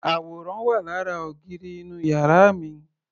Àwòrán wà lára ògiri inú yàrá mi.